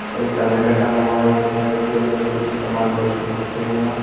और एक कैलेंडर टंगा हुआ है रैकों के अंदर कुछ सामान पैकेट्स रखे हुए हैं।